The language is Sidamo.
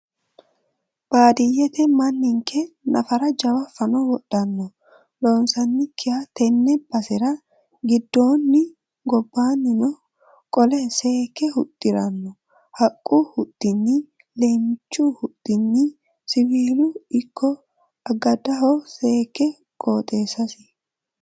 Baadiyyete manninke nafara jawa fano wodhano loonsanikkiha tene basera giddoono gobbanino qolle seekke huxxirano haqqu huxxini leemichu huxxinni siwiilunino ikko agadhano seekke qooxeessasi.